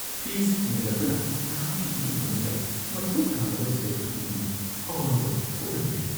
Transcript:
Fees ꯍꯦꯟꯒꯠꯂꯛꯄꯅ ꯅꯍꯥꯛꯀꯤ ꯏꯃꯨꯡ-ꯃꯅꯨꯡꯗ ꯃꯊꯧ ꯇꯥꯗꯕ ꯁꯦꯜ-ꯊꯨꯝꯒꯤ ꯑꯋꯥꯕ ꯊꯣꯛꯍꯟꯕ ꯌꯥꯏ꯫